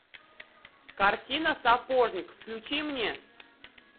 картина сапожник включи мне